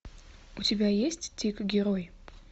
у тебя есть тик герой